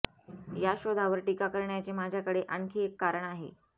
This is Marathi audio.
या शोधावर टीका करण्याचे माझ्याकडे आणखी एक कारण आहे